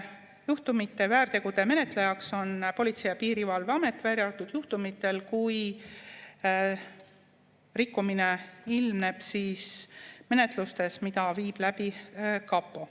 Juhtumite, väärtegude menetlejaks on Politsei‑ ja Piirivalveamet, välja arvatud juhtumitel, kui rikkumine ilmneb menetlustes, mida viib läbi kapo.